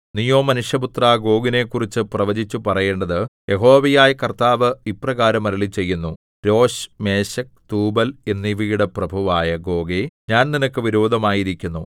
നീയോ മനുഷ്യപുത്രാ ഗോഗിനെക്കുറിച്ചു പ്രവചിച്ച് പറയേണ്ടത് യഹോവയായ കർത്താവ് ഇപ്രകാരം അരുളിച്ചെയ്യുന്നു രോശ് മേശെക് തൂബൽ എന്നിവയുടെ പ്രഭുവായ ഗോഗേ ഞാൻ നിനക്ക് വിരോധമായിരിക്കുന്നു